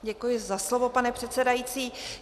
Děkuji za slovo, pane předsedající.